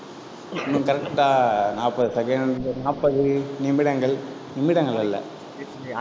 இன்னும் correct ஆ நாப்பது second நாப்பது நிமிடங்கள், நிமிடங்கள் அல்ல.